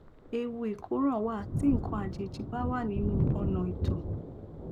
ewu ìkóràn wà tí nǹkan àjèjì bá wà nínú ọnà ìtọ